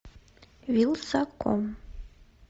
вилсаком